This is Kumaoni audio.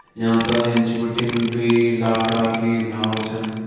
यांका एंच बिटिन दुई लाखड़ा की नाव छन।